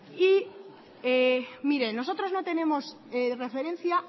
nosotros no tenemos referencia